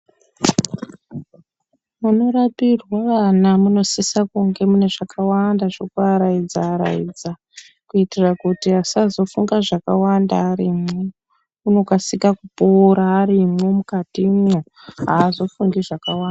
Munorapirwe vana munosise kunge mune zvakawanda zvekuaraidza-araidza, kuitira kuti asazofunga zvakawanda arimwo, unokasika kupora arimwo mukatimwo, aazofungi zvakawanda .